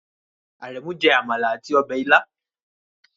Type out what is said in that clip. Aremu jẹ amala ati ọbẹ ila